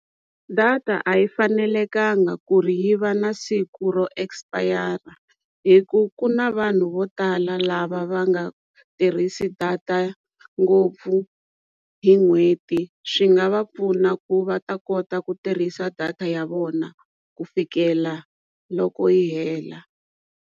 Data a yi fanelekangi ku ri yi va na siku ro expire hi ku ku na vanhu vo tala lava va nga tirhisi data ngopfu hi n'hweti swi nga va pfuna ku va ta kota ku tirhisa data ya vona ku fikela loko yi hela.